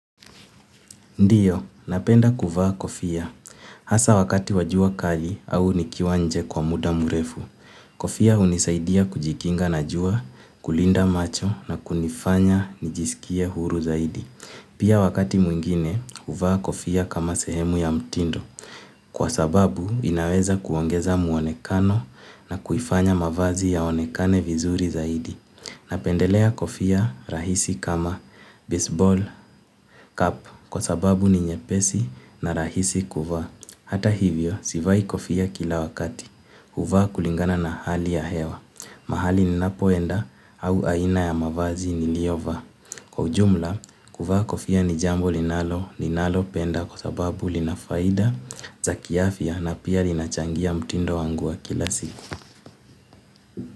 Ndiyo, napenda kuvaa kofia. Hasa wakati wajua kali au nikiwa nje kwa muda mrefu. Kofia hunisaidia kujikinga na jua, kulinda macho na kunifanya nijisikie huru zaidi. Pia wakati mwingine, huvaa kofia kama sehemu ya mtindo. Kwa sababu, inaweza kuongeza muonekano na kuifanya mavazi yaonekane vizuri zaidi. Napendelea kofia rahisi kama baseball, cup. Kwa sababu ni nyepesi na rahisi kuvaa. Hata hivyo, sivai kofia kila wakati huvaa kulingana na hali ya hewa. Mahali ninapoenda au aina ya mavazi niliyo vaa. Kwa ujumla, kuvaa kofia ni jambo linalo ninalo penda kwa sababu lina faida za kiafya na pia linachangia mtindo wangu wa kila siku.